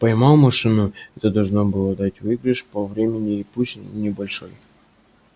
поймал машину это должно было дать выигрыш по времени пусть небольшой